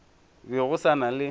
be go sa na le